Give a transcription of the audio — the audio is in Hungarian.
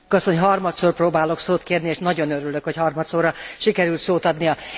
Elnök asszony! Harmadszor próbálok szót kérni és nagyon örülök, hogy harmadszorra sikerült szót adnia.